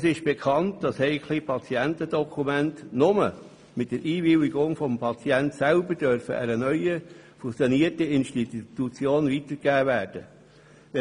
Es ist bekannt, dass heikle Patientendokumente nur mit Einwilligung des Patienten einer neuen fusionierten Institution weitergegeben werden dürfen.